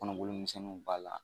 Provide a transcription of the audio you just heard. Kɔnɔboli misɛnninw b'a la.